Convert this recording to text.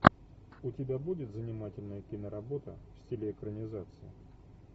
у тебя будет занимательная киноработа в стиле экранизации